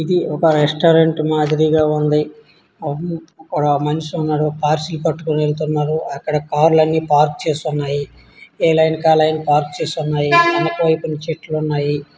ఇది ఒక రెస్టారెంట్ మాదిరిగా ఉంది. అడ మనిషి ఉన్నాడు పార్సెల్ పట్టుకొని ఉన్నాడు అక్కడ కార్లు అన్నీ పార్క్ చేసి ఉన్నాయి. ఏ లైన్ కాలైన పార్క్ చేసిఉన్నాయి. అనుకోని కొన్ని చెట్లు ఉన్నాయి.